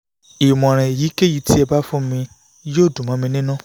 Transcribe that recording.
ìmọ̀ràn èyíkéyìí tí ẹ bá fún mi yóò dùn mọ́ mi nínú